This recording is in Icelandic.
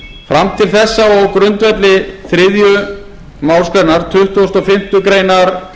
til þessa og á grundvelli þriðju málsgrein tuttugustu og fimmtu greinar